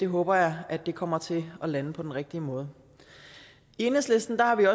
håber jeg kommer til at lande på den rigtige måde i enhedslisten